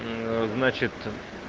значит